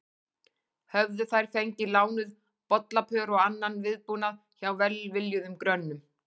Höfðu þær fengið lánuð bollapör og annan viðbúnað hjá velviljuðum grönnum.